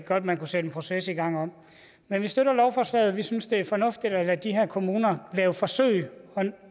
godt man kunne sætte en proces i gang om men vi støtter lovforslaget vi synes det er fornuftigt at lade de her kommuner lave forsøg